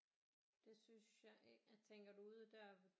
Det synes jeg tænker du ude der ved